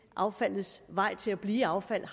affaldets vej til at blive affald